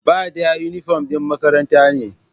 Ba ɗaya, inifom ɗin makaranta ne